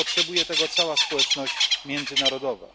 Potrzebuje tego cała społeczność międzynarodowa.